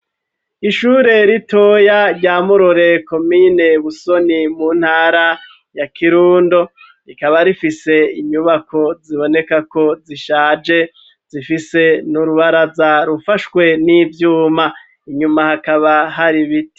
Ishure ritoya ryamurore, komine busoni mu ntara ya kirundo ,rikaba rifise inyubako ziboneka ko zishaje ,zifise n'urubaraza rufashwe n'ivyuma, inyuma hakaba hari biti.